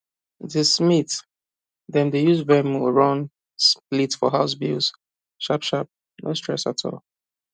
the smith dem dey use venmo run split for house bills sharpsharp no stress at all